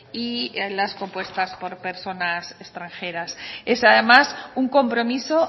y a las compuestas por personas extranjeras es además un compromiso